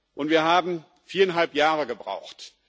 Und wir haben viereinhalb Jahre gebraucht.